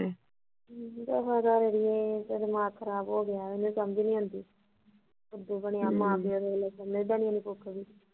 ਹਮ ਕਿਆ ਕਰਾ ਅੜੀਏ ਦਿਮਾਗ ਖਰਾਬ ਹੋਗਿਆ ਕੀ ਕਰਾ ਮੈਨੂੰ ਸਮਜ ਨੀ ਆਉਂਦੀ ਬਣਿਆ ਨੀ ਕੱਖ ਵੀ